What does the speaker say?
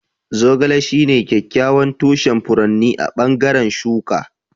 Zogale shine kyakkyawan tushen furotin a bangaren shuka.